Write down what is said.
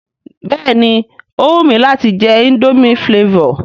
Béèni ó wù mi láti je indomie flavour